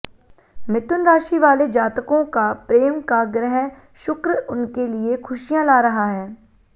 मिथुन राशि वाले जातकों का प्रेम का ग्रह शुक्र उनके लिये खुशियां ला रहा है